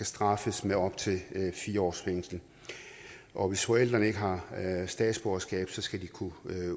straffes med op til fire års fængsel og hvis forældrene ikke har statsborgerskab skal de kunne